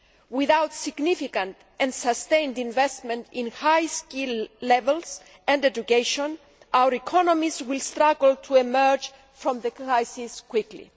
Without significant and sustained investment in high skill levels and education, our economies will struggle to emerge from the crisis quickly.